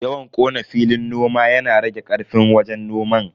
Yawan kona filin noma yana rage karfin wajen noman.